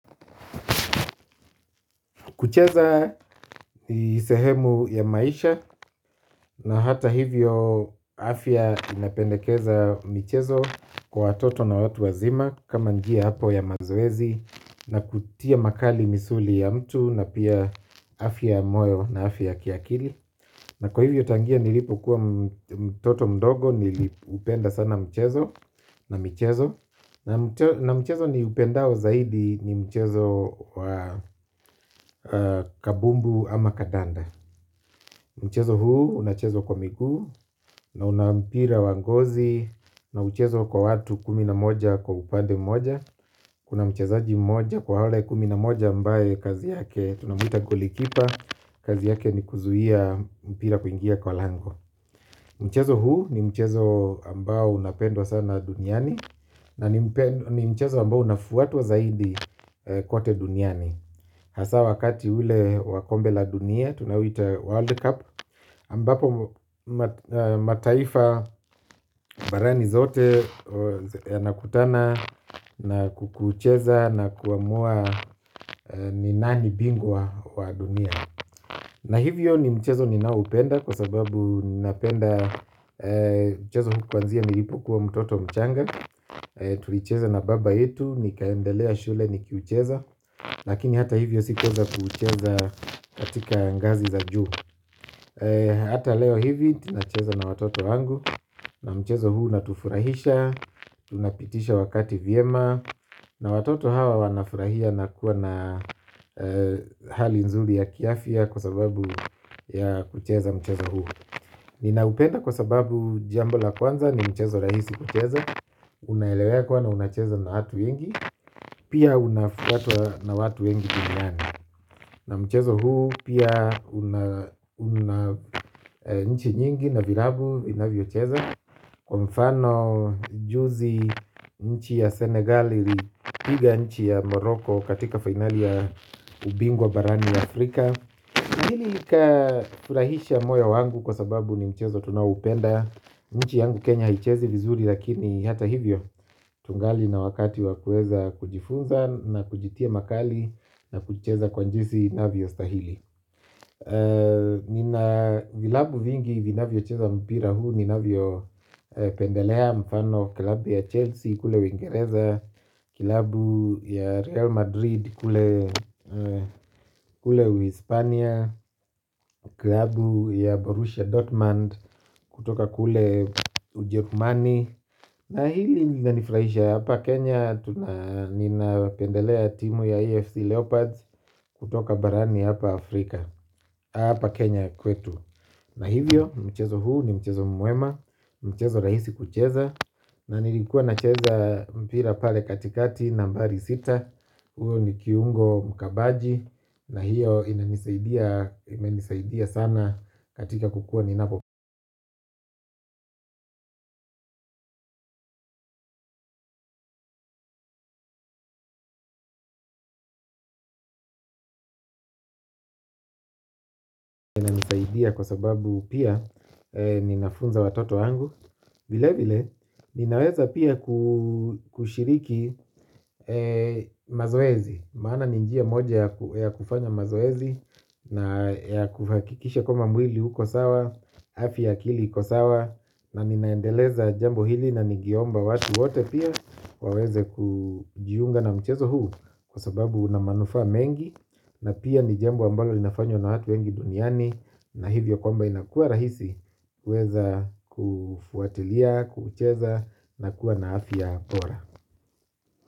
Kucheza ni sehemu ya maisha na hata hivyo, afya inapendekeza michezo kwa watoto na watu wazima, kama njia apo ya mazoezi na kutia makali misuli ya mtu na pia afya ya moyo na afya ya kiakili. Kucheza ni sehemu ya maisha na hata hivyo, afya inapendekeza michezo kwa watoto na watu wazima, kama njia apo ya mazoezi na kutia makali misuli ya mtu na pia afya ya moyo na afya ya kiakili. Na mchezo niupendao zaidi ni mchezo, kabumbu ama kadanda. Mchezo huu unachezwa kwa miguu na una mpira wangozi, na mchezo kwa watu kumi na moja kwa upande mmoja, kuna mchezaji mmoja kwa wale kumi na moja ambae kazi yake tunamuita golikipa. Kazi yake ni kuzuia mpira kuingia kwa lango. Mchezo huu ni mchezo ambao unapendwa sana duniani, na ni mchezo ambao unafuatwa zaidi kote duniani. Hasa wakati ule wa Kombe La Dunia, tunoita World Cup Ambapo mataifa barani zote nakutana na kukucheza na kuamua ni nani bingwa wa dunia. Na hivyo, ni mchezo ninaoupenda kwa sababu ninapenda mchezo kwanzia nilipokua mtoto mchanga. Tulicheza na baba yetu, nikaendelea shule, nikiucheza, lakini hata hivyo, sikuweza kuucheza, katika ngazi za juu. Hata leo hivi, tunacheza na watoto wangu, na mchezo huu natufurahisha, tunapitisha wakati vyema, na watoto hawa wanafurahia na kua na hali nzuri ya kiafya, kwa sababu ya kucheza mchezo huu. Ninaupenda kwa sababu jambo la kwanza ni mchezo rahisi kucheza, unaelewekwa na unachezwa na watu wengi. Pia, unafuatwa na watu wengi duniani. Na mchezo huu, pia, una nchi nyingi na virabu, vinavyocheza. Kwa mfano, juzi, nchi ya Senegali, ilipiga nchi ya Moroko katika finali ya ubingwa barani Afrika, Hili likafurahisha moyo wangu kwa sababu ni mchezo tunaoupenda. Nchi yangu Kenya haichezi vizuri lakini, hata hivyo, tugali na wakati wa kueza kujifunza na kujitia makali na kucheza kwa jisi inavyo stahili. Nina vilabu vingi vinavyocheza mpira huu, nina vyo pendelea mfano kilabu ya Chelsea kule uingereza, kilabu ya Real Madrid kule Uhispania. Klabu ya Borussia Dortmund kutoka kule Ujekumani, Na hili linanifurahisha hapa Kenya, nina pendelea timu ya EFC Leopards. Kutoka barani hapa Afrika. Hapa Kenya kwetu. Na hivyo, mchezo huu ni mchezo mwema, mchezo rahisi kucheza, na nilikuwa nacheza mpira pale katikati nambari sita, uo ni kiungo mkabaji, na hiyo inanisaidia, imenisaidia sana, katika kukua nina inanisaidia kwa sababu, pia, ninafunza watoto wangu, vile vile, ninaweza pia, kushiriki mazoezi. Maana ni njia moja ya kufanya mazoezi, na ya kuhakikisha kwamba mwili uko sawa. Afya ya akili iko sawa, na ninaendeleza jambo hili na nigeomba watu wote pia, waweze kujiunga na mchezo huu. Kwa sababu unamanufaa mengi, na pia, ni jambo ambalo linafanywa na watu wengi duniani. Na hivyo kwamba inakua rahisi. Weza kufuatilia, kuucheza na kua na afya bora.